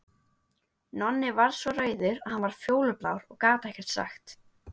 Nonni varð svo rauður að hann varð fjólublár og gat ekkert sagt.